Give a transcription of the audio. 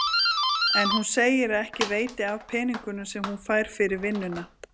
En hún segir að ekki veiti af peningunum sem hún fær fyrir vinnuna.